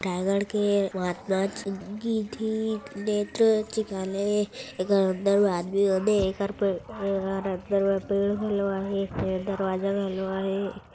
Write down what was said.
राईगड़ के नेत्र चिकित्सालय एकर अंदर मे आदमी मन हे एकर पेड़ अंदर मे पेड़ आहे दरवाजा घलो आहे।